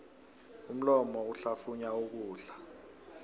umlomo uhlafunya ukudla